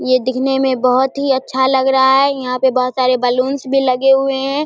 ये दिखने में बहोत ही अच्छा लग रहा है यहां पे बहोत सारे बलून्स भी लगे हुए हैं।